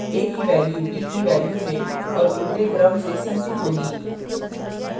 a की value b की value में और उल्टे क्रम से संचित होगी